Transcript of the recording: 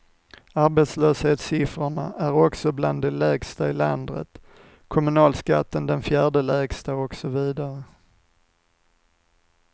Arbetslöshetssiffrorna är också bland de lägsta i landet, kommunalskatten den fjärde lägsta osv.